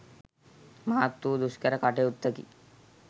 මහත් වූ දුෂ්කර කටයුත්තකි.